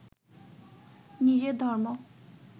নিজের ধর্ম